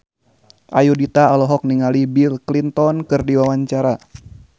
Ayudhita olohok ningali Bill Clinton keur diwawancara